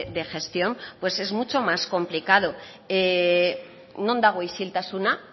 de gestión pues es mucho más complicado non dago isiltasuna